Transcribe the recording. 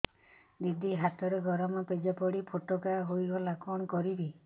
ଦିଦି ହାତରେ ଗରମ ପେଜ ପଡି ଫୋଟକା ହୋଇଗଲା କଣ କରିବି